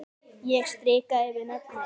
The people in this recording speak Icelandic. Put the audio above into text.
Ég strika yfir nöfnin.